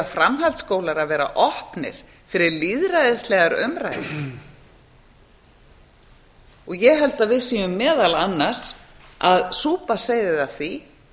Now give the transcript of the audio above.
framhaldsskólar að vera opnir fyrir lýðræðislegar umræður ég held að við séum meðal annars að súpa seyðið af því